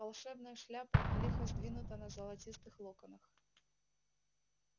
волшебная шляпа лихо сдвинута на золотистых локонах